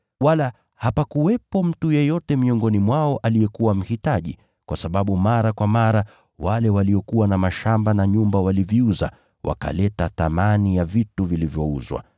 Wala hapakuwepo mtu yeyote miongoni mwao aliyekuwa mhitaji, kwa sababu mara kwa mara wale waliokuwa na mashamba na nyumba waliviuza, wakaleta thamani ya vitu vilivyouzwa,